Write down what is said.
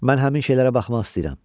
Mən həmin şeylərə baxmaq istəyirəm.